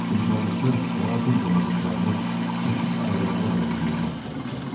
Qumsallıqda qara qum dənəciklərini seçib ayırmağa bənzəyirdi axtarışlarımız.